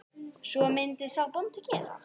Hvað myndi sá bóndi gera?